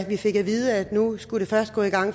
vi fik at vide at nu skulle det først gå i gang